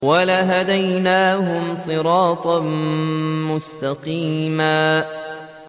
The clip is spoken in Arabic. وَلَهَدَيْنَاهُمْ صِرَاطًا مُّسْتَقِيمًا